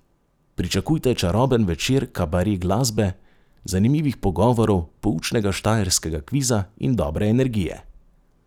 Pričakujte čaroben večer kabare glasbe, zanimivih pogovorov, poučnega Štajerskega kviza in dobre energije.